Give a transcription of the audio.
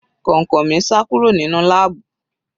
Kọ̀ǹkọ̀ mi sá kúrò nínú láàbù.